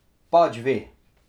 Pač ve.